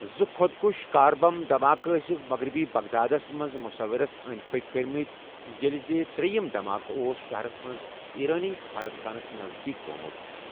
زٕ خۄدکش کار بمب دماکہٕ ٲسِکھ مغربی بغدادَس منٛز منصورَس أنٛدۍ پٔکۍ کٔرمٕتۍ ییٚلہِ زِ ترٛیِم دماکہٕ اوس شَہرَس منٛز ایرانی سِفارت خانَس نزدیٖک گوٚومُت۔